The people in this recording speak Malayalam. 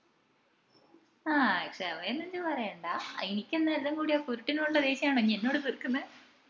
ആഹ് ക്ഷമയൊന്നും ഇഞ് പറയേണ്ട ഇനിക്കെന്നാ എല്ലാം കൂടി ആ കുരുട്ടിനോട് ഉള്ള ദേഷ്യാണോ ഇഞ് അന്നോടി തീര്ക്കിന്നെ